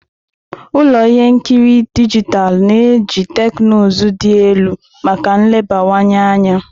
Ụlọ ihe nkiri dijitalụ na-eji teknụzụ dị elu maka nlebawanye anya.